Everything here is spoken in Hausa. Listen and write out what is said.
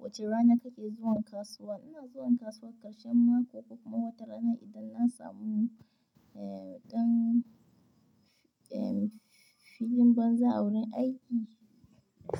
Wace rana kake zuwa kasuwa? Ina zuwa kasuwa ƙarshen mako ko ma watarana. Idan na samu, eh, ɗan, eh, filin banza wurin aiki